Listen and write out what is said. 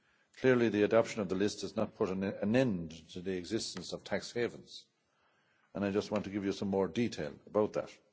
Clearly the adoption of the list has not put an end to the existence of tax havens and I want to give you some more detail about that.